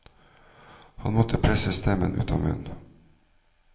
Han måtte presse stemmen ut av munnen.